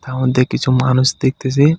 তার মধ্যে কিছু মানুষ দেখতেছি.